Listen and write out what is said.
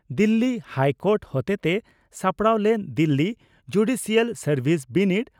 Delhi high court ᱦᱚᱛᱮᱛᱮ ᱥᱟᱯᱲᱟᱣ ᱞᱮᱱ ᱫᱤᱞᱤ ᱡᱩᱰᱤᱥᱤᱭᱟᱞ ᱥᱟᱨᱵᱷᱤᱥ ᱵᱤᱱᱤᱰ